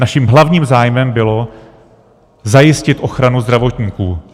Naším hlavním zájmem bylo zajistit ochranu zdravotníků.